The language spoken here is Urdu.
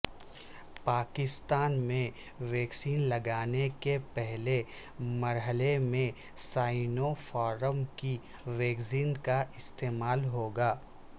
پاکستان میں ویکسین لگانے کے پہلے مرحلے میں سائنو فارم کی ویکسین کا استعمال ہوگا